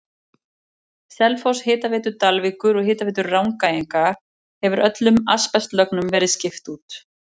Selfoss, Hitaveitu Dalvíkur og Hitaveitu Rangæinga hefur öllum asbestlögnum verið skipt út.